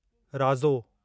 राज़ो